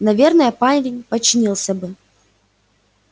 наверное парень подчинился бы